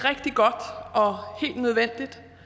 nødvendigt